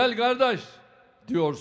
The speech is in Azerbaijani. Gəl qardaş deyirsən,